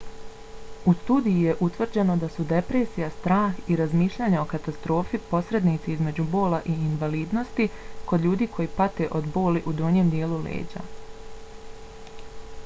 u studiji je utvrđeno da su depresija strah i razmišljanje o katastrofi posrednici između bola i invalidnosti kod ljudi koje pate od boli u donjem dijelu leđa